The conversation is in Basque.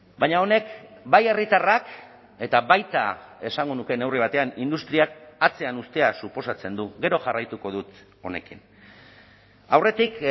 baina honek bai herritarrak eta baita esango nuke neurri batean industriak atzean uztea suposatzen du gero jarraituko dut honekin aurretik